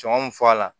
Sɔngɔ mi fɔ a la